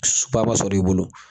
ma sɔrɔ i bolo.